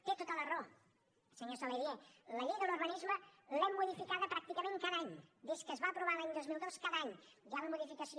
té tota la raó senyor saladié la llei de l’urbanisme l’hem modificada pràcticament cada any des que es va aprovar l’any dos mil dos cada any hi ha la modificació